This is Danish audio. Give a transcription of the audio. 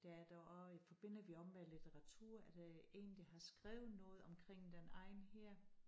Der er der også forbinder vi også med litteratur er der en der har skrevet noget omkring den egn her